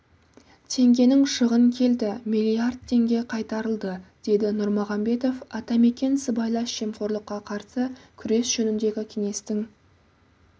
теңгенің шығын келді миллиард теңге қайтарылды деді нұрмағамбетов атамекен сыбайлас жемқорлыққа қарсы күрес жөніндегі кеңестің